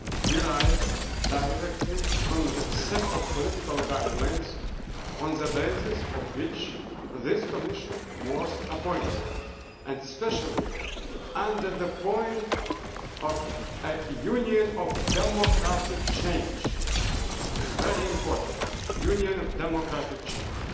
derives directly from the set of political guidelines on the basis of which this Commission was appointed, especially under the heading of a Union of democratic change this is very important, a Union of democratic change.